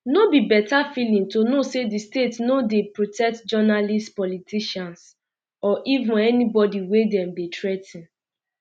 um no be better feeling to know say di state no dey protect journalists politicians or even anybodi wey dem dey threa ten um